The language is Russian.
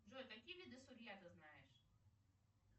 джой какие виды сырья ты знаешь